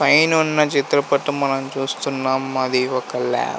పైనున్న చిత్రపటం మనం చూస్తున్నాం అది ఒక ల్యాబ్ --